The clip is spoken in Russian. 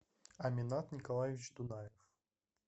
аминат николаевич тунаев